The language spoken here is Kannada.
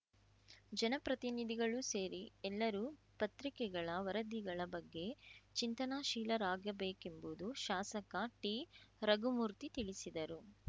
ಜನಪ್ರತಿನಿಧಿಗಳೂ ಸೇರಿ ಎಲ್ಲರೂ ಪತ್ರಿಕೆಗಳ ವರದಿಗಳ ಬಗ್ಗೆ ಚಿಂತನಶೀಲಾರಾಗಬೇಕೆಂಬುದು ಶಾಸಕ ಟಿ ರಘುಮೂರ್ತಿ ತಿಳಿಸಿದರು